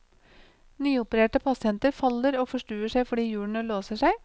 Nyopererte pasienter faller og forstuer seg fordi hjulene låser seg.